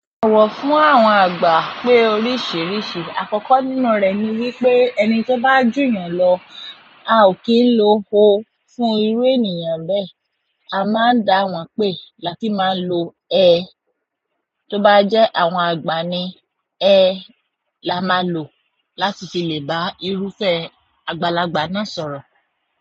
Owọ fún àwọn àgbà pé oríṣìíríṣìí. Àkọ́kọ́ nínú rẹ̀ ni wípé ẹni tó bá jù yàn lọ, a ò kí ń lo ó fún irú ènìyàn bẹ́ẹ̀. A máa ń dáa wọn pé láti máa lo ẹ, tó bá jẹ́ àwọn àgba ni ẹ la máa lò láti fi lè bá irúfẹ́ àgbàlagbà náà sọ̀rọ̀.